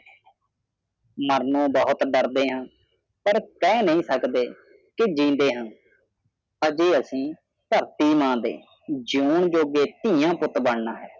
ਮਾਰਨੋ ਬਹੁਤ ਡਰਦੇ ਹਾਂ ਪਰ ਕਹਿ ਨਹੀਂ ਸਕਦੇ ਕਿ ਜ਼ਿੰਦੇ ਹੈ ਅਜੇ ਅਸੀਂ ਧਰਤੀ ਨਾ ਤੇ ਜ਼ਿਓਂਨ ਜੋਗੇ ਥੀਆ ਪੁੱਤ ਬਣਨਾ ਹੈ